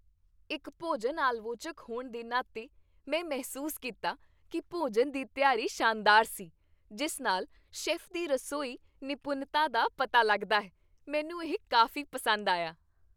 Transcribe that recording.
ਇੱਕ ਭੋਜਨ ਆਲਵੋਚਕ ਹੋਣ ਦੇ ਨਾਤੇ, ਮੈਂ ਮਹਿਸੂਸ ਕੀਤਾ ਕੀ ਭੋਜਨ ਦੀ ਤਿਆਰੀ ਸ਼ਾਨਦਾਰ ਸੀ, ਜਿਸ ਨਾਲ ਸ਼ੈੱਫ ਦੀ ਰਸੋਈ ਨਿਪੁੰਨਤਾ ਦਾ ਪਤਾ ਲੱਗਦਾ ਹੈ। ਮੈਨੂੰ ਇਹ ਕਾਫ਼ੀ ਪਸੰਦ ਆਇਆ।